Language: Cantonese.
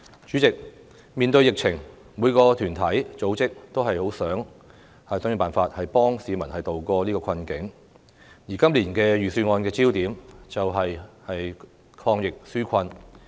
主席，面對疫情，每個團體、組織均十分希望想盡辦法幫助市民渡過困境，而今年預算案的焦點，便是抗疫紓困。